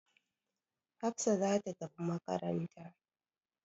Hafsa za ta tafi makaranta.